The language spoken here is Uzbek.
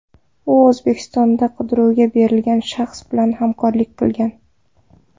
U O‘zbekistonda qidiruvga berilgan shaxs bilan hamkorlik qilgan.